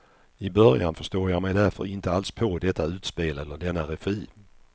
I början förstår jag mig därför inte alls på detta utspel eller denna regi.